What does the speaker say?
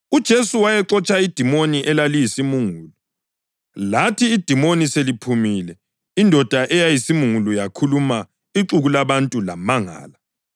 UJesu wayexotsha idimoni elaliyisimungulu. Lathi idimoni seliphumile, indoda eyayiyisimungulu yakhuluma, ixuku labantu lamangala.